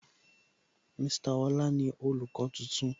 Mr Ọlá ni olùkọ́ tuntun